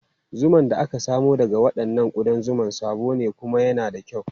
Zuman da aka samo daga waɗannan ƙudan zuma sabo ne kuma yana da kyau.